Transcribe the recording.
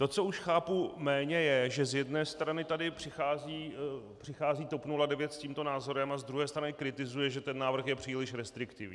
To, co už chápu méně, je, že z jedné strany tady přichází TOP 09 s tímto názorem a z druhé strany kritizuje, že ten návrh je příliš restriktivní.